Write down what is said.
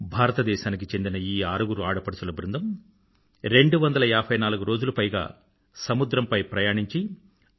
భారతదేశానికి చెందిన ఈ ఆరుగురు ఆడపడుచుల బృందం రెండువందల ఏభై నాలుగు రోజులు పైగా సముద్రంపై ప్రయాణించి ఐ